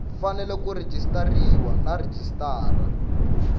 fanele ku rejistariwa na registrar